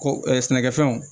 Ko sɛnɛkɛfɛnw